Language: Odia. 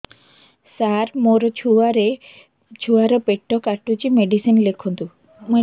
ସାର ମୋର ଛୁଆ ର ପେଟ କାଟୁଚି ମେଡିସିନ ଲେଖନ୍ତୁ